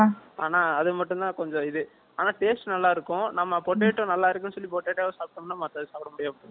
அது மட்டும் தான் கொஞ்சம் இது. ஆனா, taste நல்லா இருக்கும். நம்ம நல்லா இருக்குன்னு சொல்லி, potato வை சாப்பிட்டோம்ன்னா, மத்தது சாப்பிட முடியாது